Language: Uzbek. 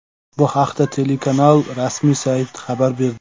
Bu haqda telekanal rasmiy sayti xabar berdi .